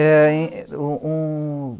É hein, um um